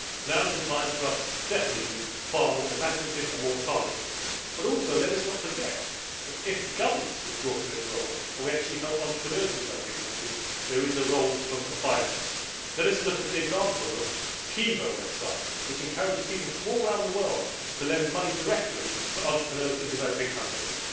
Now is definitely the time for us to be far more imaginative and more targeted, but also let us not forget that if the governments withdraw from this role and we actually help entrepreneurs in the developing countries, there is a role for finance. Let us look at an example the Kiva website, which encourages people from all round the world to lend money directly to entrepreneurs in developing countries.